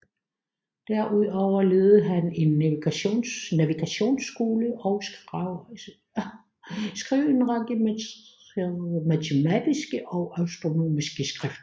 Derudover ledede han en navigationsskole og skrev en række matematiske og astronomiske skrifter